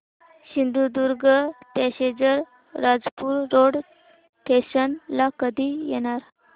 Sindhudurg passenger Rajapur road station ला कधी येणार